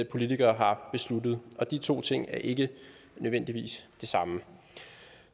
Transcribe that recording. politikere har besluttet og de to ting er ikke nødvendigvis det samme